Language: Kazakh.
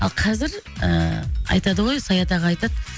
ал қазір ы айтады ғой саят аға айтады